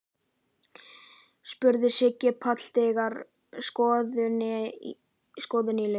spurði Siggi Palli þegar skoðuninni lauk.